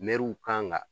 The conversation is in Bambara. Mɛriw kan